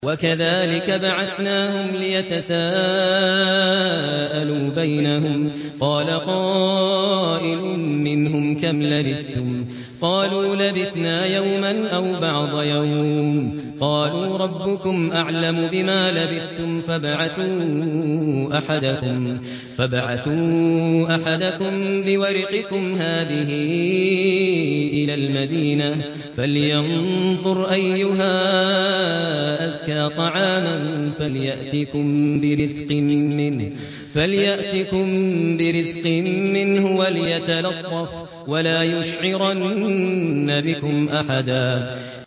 وَكَذَٰلِكَ بَعَثْنَاهُمْ لِيَتَسَاءَلُوا بَيْنَهُمْ ۚ قَالَ قَائِلٌ مِّنْهُمْ كَمْ لَبِثْتُمْ ۖ قَالُوا لَبِثْنَا يَوْمًا أَوْ بَعْضَ يَوْمٍ ۚ قَالُوا رَبُّكُمْ أَعْلَمُ بِمَا لَبِثْتُمْ فَابْعَثُوا أَحَدَكُم بِوَرِقِكُمْ هَٰذِهِ إِلَى الْمَدِينَةِ فَلْيَنظُرْ أَيُّهَا أَزْكَىٰ طَعَامًا فَلْيَأْتِكُم بِرِزْقٍ مِّنْهُ وَلْيَتَلَطَّفْ وَلَا يُشْعِرَنَّ بِكُمْ أَحَدًا